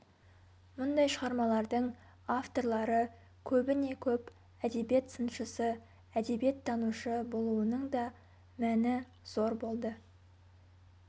мұндай шығармалардың авторлары көбіне-көп әдебиет сыншысы әдебиеттанушы болуының да мәні зор болды